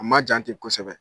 A ma jan tɛ kosɛbɛ